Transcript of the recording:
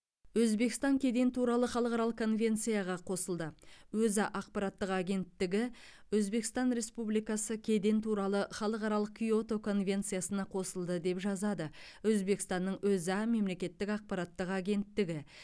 өзбекстан кеден туралы халықаралық конвенцияға қосылды өза ақпараттық агенттігі өзбекстан республикасы кеден туралы халықаралық киото конвенциясына қосылды деп жазады өзбекстанның өза мемлекеттік ақпараттық агенттігі